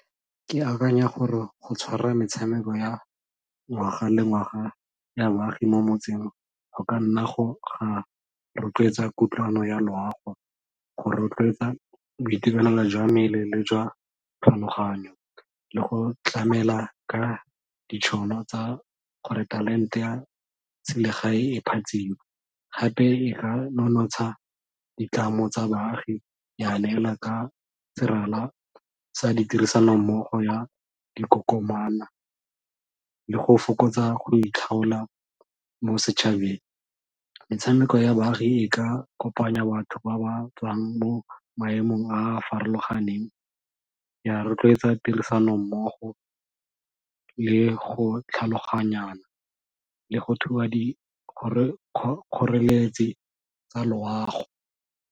Ke akanya gore go tshwara metshameko ya ngwaga le ngwaga ya baagi mo motseng go ka nna go ga rotloetsa kutlwano ya loago, go rotloetsa boitekanelo jwa mmele le jwa tlhaloganyo le go tlamela ka ditšhono tsa gore talente ya selegae e phatsime, gape e ka nonotsha ditlamo tsa baagi ya neela ka serala sa di tirisano mmogo ya dikokomana le go fokotsa go itlhaola mo setšhabeng. Metshameko ya baagi e ka kopanya batho ba ba tswang mo maemong a a farologaneng ya rotloetsa tirisano mmogo le go tlhaloganyana le go thuba dikgoreletsi tsa loago.